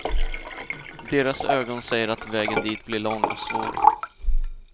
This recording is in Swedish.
Deras ögon säger att vägen dit blir lång och svår.